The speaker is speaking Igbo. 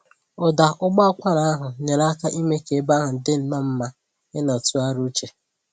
Ụda ụbọakwara ahụ nyere aka ime k'ebe ahụ dịnnọ mma ịnọ tụgharịa uche